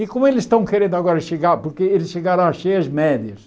E como eles estão querendo agora chegar, porque eles chegaram a cheias médias.